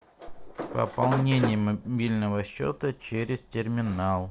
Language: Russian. пополнение мобильного счета через терминал